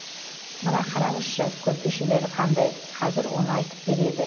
мына қараңызшы көрпешелері қандай кәзір оны айтып береді